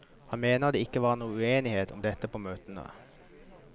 Han mener det ikke var noen uenighet om dette på møtene.